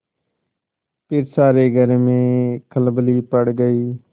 फिर सारे घर में खलबली पड़ गयी